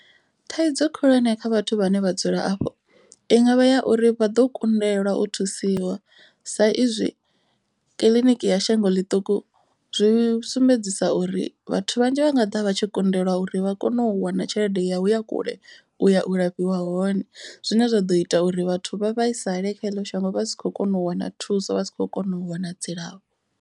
Thaidzo khulwane kha vhathu vhane vha dzula afho i ngavha ya uri vha ḓo kundelwa u thusiwa. Sa izwi kiḽiniki ya shango ḽiṱuku zwi sumbedzisa uri vhathu vhanzhi vha nga ḓa vha tshi kundelwa uri vha kone u wana tshelede yau ya kule u ya u lafhiwa hone. Zwine zwa ḓo ita uri vhathu vha vhaisale kha eḽo shango vha si khou kona u wana thuso. Vha si kho kona u wana dzilafho.